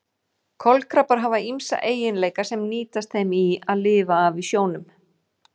Kolkrabbar hafa ýmsa eiginleika sem nýtast þeim í að lifa af í sjónum.